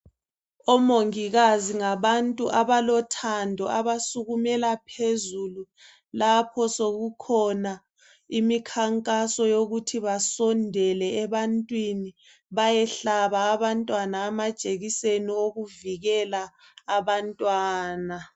Omongikazi ngabantu abalothando abasukumela phezulu lapho sokukhona imkhankaso yokuthi basondele ebantwini bayehlaba abantwana amajekiseni okuvikela abantwana.